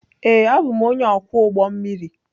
Ee, abụ m onye ọkwọ ụgbọ mmiri.